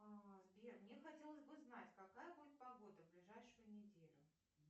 сбер мне хотелось бы знать какая будет погода в ближайшую неделю